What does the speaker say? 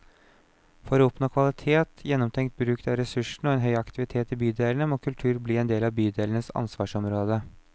For å oppnå kvalitet, gjennomtenkt bruk av ressursene og en høy aktivitet i bydelene, må kultur bli en del av bydelenes ansvarsområde.